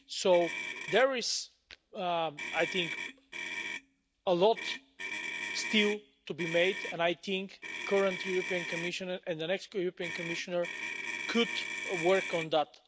So, there is I think a lot still to be done, and I think the current European Commissioner and the next European Commissioner could work on that.